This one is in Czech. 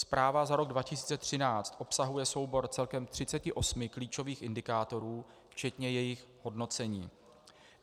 Zpráva za rok 2013 obsahuje soubor celkem 38 klíčových indikátorů včetně jejich hodnocení.